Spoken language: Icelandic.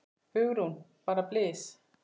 Hugrún: Bara blys?